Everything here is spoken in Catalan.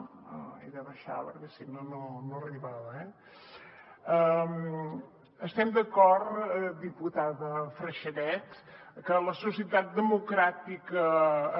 ho he d’abaixar perquè si no no arribava eh estem d’acord diputada freixanet que la societat democràtica